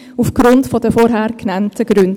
dies aufgrund der vorhin genannten Gründe.